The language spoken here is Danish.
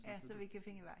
Ja så vi kan finde vej